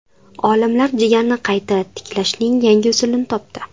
Olimlar jigarni qayta tiklashning yangi usulini topdi.